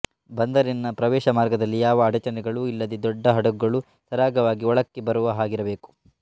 ಬಂದರಿನ ಪ್ರವೇಶಮಾರ್ಗದಲ್ಲಿ ಯಾವ ಅಡಚಣೆಗಳೂ ಇಲ್ಲದೆ ದೊಡ್ಡ ಹಡಗುಗಳೂ ಸರಾಗವಾಗಿ ಒಳಕ್ಕೆ ಬರುವ ಹಾಗಿರಬೇಕು